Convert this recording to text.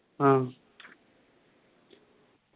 ആഹ്